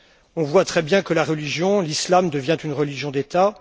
On voit très bien que la religion, l'islam, devient une religion d'État.